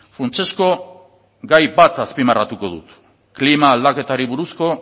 funtsezko gai bat azpimarratuko dut klima aldaketari buruzko